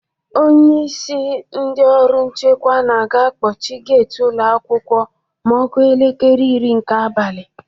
Onyeisi ndị ọrụ nchekwa na a ga-akpọchi geti ụlọ akwụkwọ ma ọ kụọ elekere iri nke abalị.